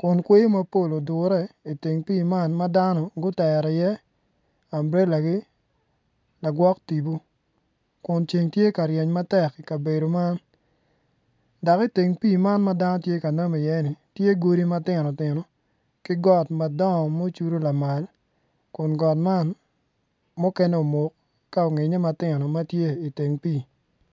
kun kweyo mapol tye odure i teng pii ma dano gutero iye ambrelagi lagwok tipo kun ceng tye ka ryeny matek i kabedo man dok i teng pii man ma dano tye ka namu iye ni tye godi ma tino tino ki got madongo ma ocudu lamal kun got man muken omuk ka onyinge matino ma tye i teng pii.